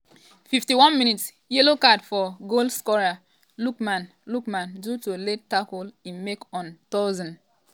51 mins - yellow card for goalscorer lookman lookman due to late tackle im make on tosin.